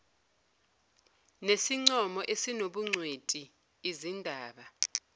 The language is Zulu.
nesincomo esinobungcweti lzindaba